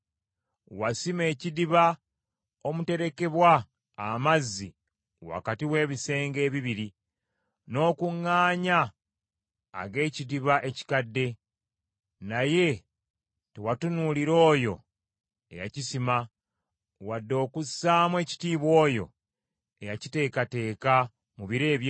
Wasima ekidiba omuterekebwa amazzi wakati w’ebisenge ebibiri, n’okuŋŋaanya ag’ekidiba ekikadde, naye tewatunuulira Oyo eyakisima, wadde okussaamu ekitiibwa Oyo eyakiteekateeka mu biro eby’edda.